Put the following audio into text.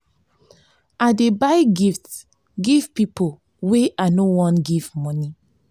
i dey buy gift give pipo wey i no wan give moni.